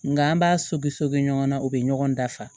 Nga an b'a sobiso ɲɔgɔnna o bɛ ɲɔgɔn dafa